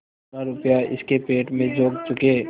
जितना रुपया इसके पेट में झोंक चुके